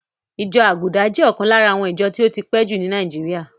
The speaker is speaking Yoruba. Ìjọ Àgùdà jẹ́ ọ̀kan lára àwọn ìjọ tí ó ti pẹ́ jù ní Nàíjíríà.